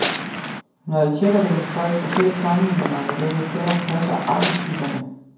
Når jeg tjekker det med folk og selv sammenligner med dem, jeg kender, passer arketyperne.